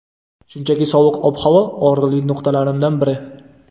Shunchaki sovuq ob-havo - og‘riqli nuqtalarimdan biri.